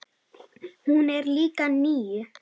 Hún er líka níu.